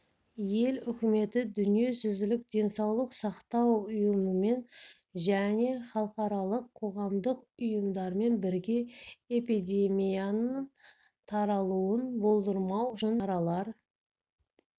ел үкіметі дүниежүзілік денсаулық сақтау ұйымымен және халықаралық қоғамдық ұйымдармен бірге эпидемияның таралуын болдырмау үшін шаралар